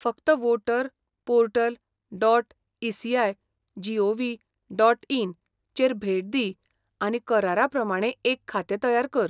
फकत voter, portal, dot, ECI, GOV, dot, in चेर भेट दी आनी करारा प्रमाणें एक खातें तयार कर.